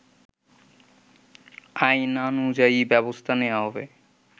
আইনানুযায়ী ব্যবস্থা নেয়া হবে